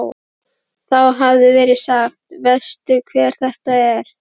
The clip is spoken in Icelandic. Þá hafi verið sagt: Veistu hver þetta er?